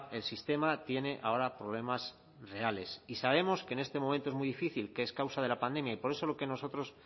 el sistema tiene ahora problemas reales y sabemos que en este momento es muy difícil que es causa de la pandemia y por eso lo que nosotros